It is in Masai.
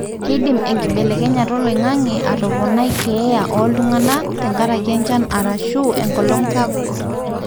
keidim enkibelekenyata oloingange atoponai keeya oltungana tenkaraki enchan arashu enkolong sapuk,